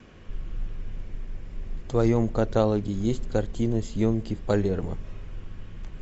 в твоем каталоге есть картина съемки в палермо